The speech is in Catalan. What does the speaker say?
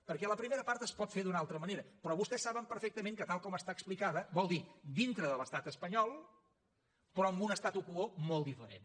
perquè la primera part es pot fer d’una altra manera però vostès saben perfectament que tal com està explicada vol dir dintre de l’estat espanyol però amb un statu quo molt diferent